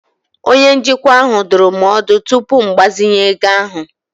Onye njikwa ahụ dụrụ m ọdụ tupu m agbazinye ego ahụ.